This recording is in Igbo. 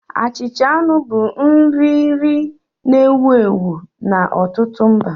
Achịcha anụ bụ nrì nri na-ewu ewu n'ọtụtụ mba